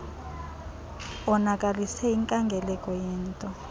onakalise inkangeleko yento